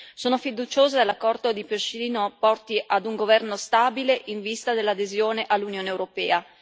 Sono fiduciosa che l'accordo di Pržino porti ad un governo stabile in vista dell'adesione all'Unione europea.